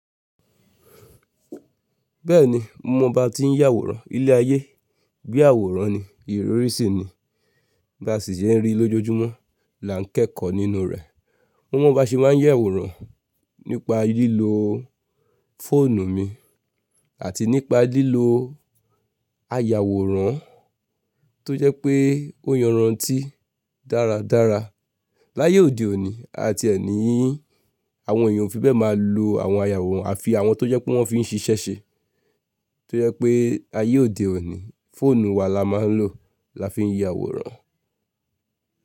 Bẹ́ẹ̀ni mo mọ bá ti ń yàwórán ilé ayé, bí àwòrán ni, ìròrí sì ni, bá sì sẹ́ ń rí lójojúmọ́ là nkẹ́kọ̀ọ́ nínú rẹ̀. Mo mọ bá ṣe máa ń yàwórán nípa lílo fóònù mi àti nípa lílo ayàwòrán tó jẹ́ pé ó yanrán tí dáradára. Láyé òde òní a ti ẹ ní àwọn èèyàn ò fi bẹ́ẹ̀ máa lo àwọn ayàwòrán àfi àwọn tó jẹ́ pé wọ́n fi ń ṣiṣẹ́ ṣe. Tó jẹ́ pé ayé òde òní, fóònù wa la máa ń lò lá fi ń yàwórán.